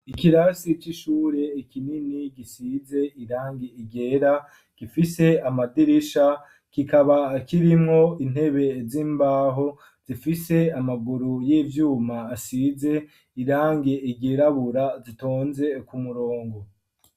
Ikirasi c'ishure kinini gisize irangi ryera gifise amadirisha kikaba kirimwo intebe z'imbaho zifise amaguru y'ivyuma asize irangi ryirabura zitonze ku murongo